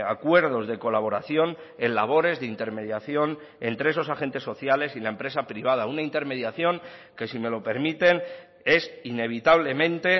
acuerdos de colaboración en labores de intermediación entre esos agentes sociales y la empresa privada una intermediación que si me lo permiten es inevitablemente